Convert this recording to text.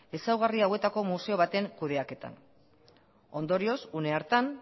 ezaugarri hauetako museo baten kudeaketan ondorioz une hartan